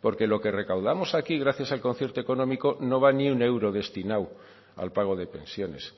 porque lo que recaudamos aquí gracias al concierto económico no va ni un euro destinado al pago de pensiones